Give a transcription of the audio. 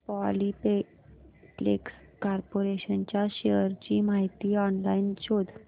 Polyplex corporation च्या shares ची माहिती ऑनलाइन शोध